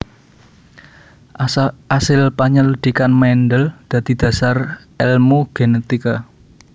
Asil penyelidikan Mendel dadi dhasar èlmu genetika